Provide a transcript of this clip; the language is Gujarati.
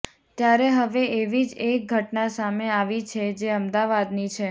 ત્યારે હવે એવી જ એક ઘટના સામે આવી છે જે અમદાવાદની છે